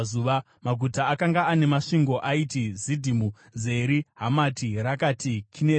Maguta akanga ane masvingo aiti Zidhimu, Zeri, Hamati, Rakati, Kinereti,